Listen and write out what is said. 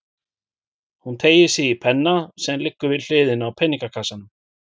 Hún teygir sig í penna sem liggur við hliðina á peningakassanum.